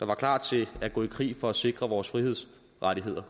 var klar til at gå i krig for at sikre vores frihedsrettigheder